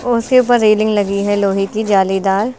और उसके ऊपर रेलिंग लगी है लोहे की जाली दार।